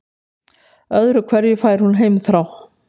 Öðru hverju fær hún heimþrá.